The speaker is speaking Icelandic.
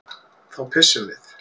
Þá pissum við.